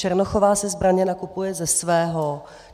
Černochová si zbraně nakupuje ze svého.